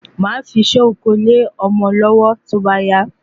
Mafi isé oko le ọmọ lówó tóbá yá